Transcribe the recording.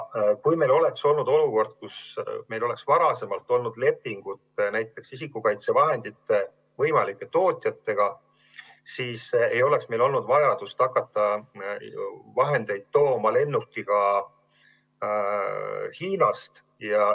Kui meil oleks olnud varem selline olukord, kus meil oleks olnud näiteks lepingud isikukaitsevahendite võimalike tootjatega, siis ei oleks meil olnud vajadust hakata neid vahendeid tooma lennukiga Hiinast.